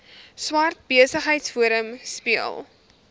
swart besigheidsforum speel